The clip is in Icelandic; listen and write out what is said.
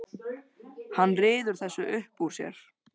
Hann ryður þessu upp úr sér.